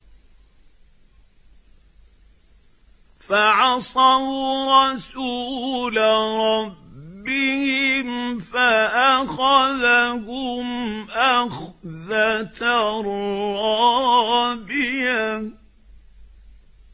فَعَصَوْا رَسُولَ رَبِّهِمْ فَأَخَذَهُمْ أَخْذَةً رَّابِيَةً